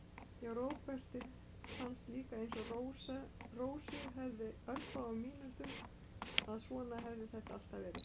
Já, Róbert fannst líka, einsog Rósu fyrir örfáum mínútum, að svona hefði þetta alltaf verið.